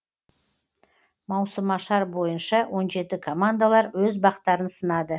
маусымашар бойынша он жеті командалар өз бақтарын сынады